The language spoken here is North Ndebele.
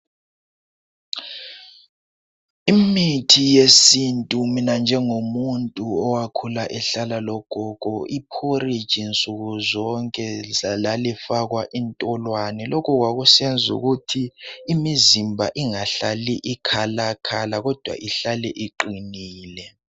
Imithi yesintu, mina njengomuntu owakhula ehlala logogo. Iporridge nsukuzonke lalifakwa intolwane. Lokhu kwakusenza ukuthi imizimba ingahlali ikhalakhala kodwa ihlale iqinile.